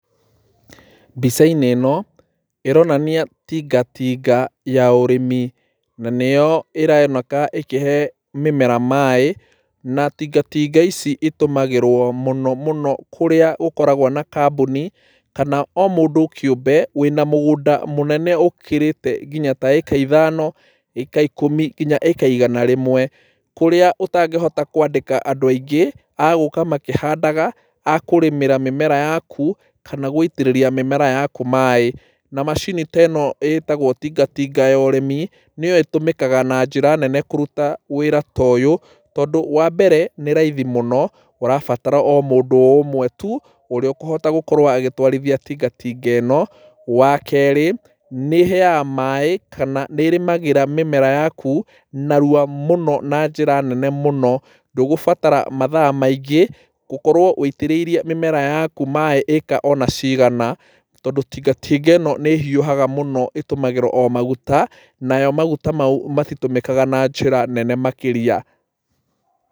Mbica-inĩ ĩno ĩronania tingatinga ya ũrĩmi, na nĩyo ĩroneka ĩkĩhe mĩmera maĩ, na tingatinga ici itũmagĩrwo mũno mũno kũrĩa gũkoragwo na kambũni, kana o mũndũ kĩũmbe wĩna mũgũnda mũnene ũkĩrĩte nginya ta ĩka ithano, ĩka ikũmi nginya ĩka igana rĩmwe, kũrĩa ũtangĩhota kwandĩka andũ aingĩ a gũka makĩhandaga, a kũrĩmĩra mĩmera yaku, kana gũitĩrĩria mĩmera yaku maĩ. Na macini ta ĩno ĩtagwo tingatinga ya ũrĩmi nĩyo ĩtũmĩkaga na njĩra nene kũrũta wĩra ta ũyũ, tondũ wa mbere nĩ raithi mũno ũrabatara o mũndũ o ũmwe tũ, ũrĩa ũkũhota gũkorwo agĩtwarithia tingatinga ĩno, wa keerĩ, nĩheaga maĩ, kana nĩĩrĩmagĩra mĩmera yakũ narua mũno na njĩra nene mũno, ndũgũbatara mathaa maingĩ gũkorwo ũitĩrĩirie mĩmera yakũ maĩ ĩka ona cigana, tondũ tingatinga ĩno nĩĩhiũhaga mũno, ĩtũmagĩra o magũta, nayo magũta maũ matitũmĩkaga na njĩra nene makĩria.